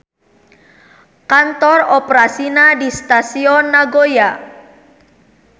Kantor operasina di Stasion Nagoya.